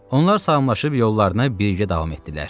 Onlar salamlaşıb yollarına birgə davam etdilər.